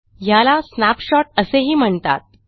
ह्याला स्नॅपशॉट असेही म्हणतात